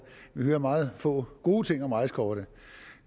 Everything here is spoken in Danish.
vi hører meget få gode ting om rejsekortet